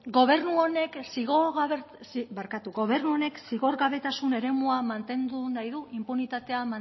gobernu honek zigorgabetasun eremua mantendu nahi du inpunitatea